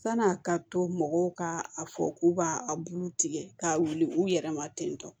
San'a ka to mɔgɔw ka a fɔ k'u b'a a bulu tigɛ k'a wuli u yɛrɛ ma ten tɔ